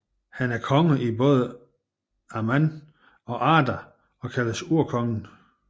Han er konge i både Aman og Arda og kaldes Urkongen